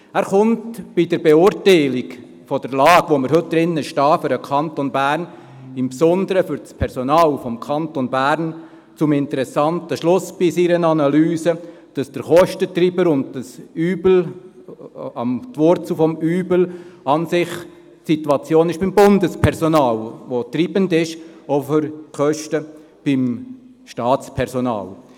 Er kommt bei der Beurteilung der Lage, in der wir heute im Kanton Bern stecken, insbesondere beim Personal des Kantons Bern zu einem interessanten Schluss und zwar bei seiner Analyse, dass der Kostentreiber und die Wurzel des Übels an und für sich die Situation beim Bundespersonal sei, welches treibend sei für die Kosten des Staatspersonals.